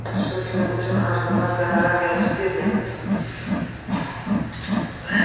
Shu film uchun arzimas gonorar yozib bergan.